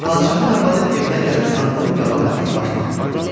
Padşahın arvadı evinə gəlib sandığın qabağına bir başmaq qoydu.